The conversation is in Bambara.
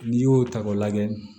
N'i y'o ta k'o lajɛ